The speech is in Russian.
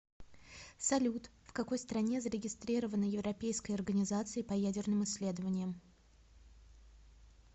салют в какой стране зарегистрирована европейская организация по ядерным исследованиям